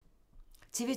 TV 2